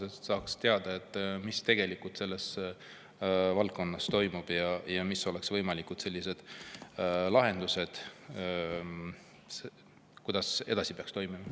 Siis me saaks teada, mis tegelikult selles valdkonnas toimub ja mis oleksid võimalikud lahendused, kuidas peaks edasi toimima.